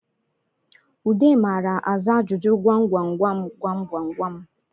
Ude mara aza ajụjụ gwamgwamgwam gwamgwamgwam